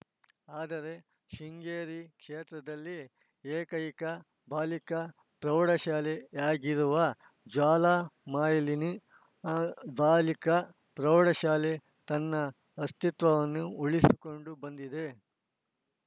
ಆದರೆ ಶೃಂಗೇರಿ ಕ್ಷೇತ್ರದಲ್ಲಿ ಏಕೈಕ ಬಾಲಿಕಾ ಪ್ರೌಢಶಾಲೆ ಆಗಿರುವ ಜ್ವಾಲಾಮಾಲಿನಿ ಬಾಲಿಕಾ ಪ್ರೌಢಶಾಲೆ ತನ್ನ ಅಸ್ತಿತ್ವವನ್ನು ಉಳಿಸಿಕೊಂಡು ಬಂದಿದೆ